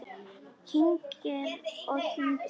Kyngir og kyngir.